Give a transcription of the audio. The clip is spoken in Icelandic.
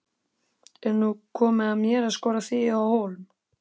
Er nú komið að mér að skora þig á hólm?